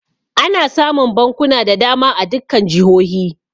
Ana samun bankuna da dama a dukkan jihohi.